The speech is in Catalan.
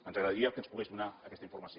ens agradaria que ens pogués donar aquesta informació